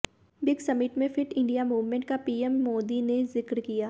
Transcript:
BRICS summit में fit India movement का PM Modi ने जिक्र किया